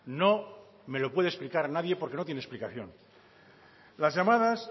no me lo puede explicar nadie porque no tiene explicación las llamadas